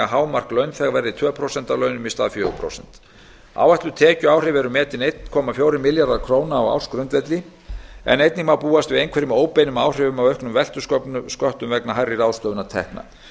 hámark launþega verði tvö prósent af launum í stað fjögurra prósenta áætluð tekjuáhrif eru metin einn komma fjórir milljarðar króna á ársgrundvelli en einnig má búast við einhverjum óbeinum áhrifum af auknum veltusköttum vegna hærri ráðstöfunartekna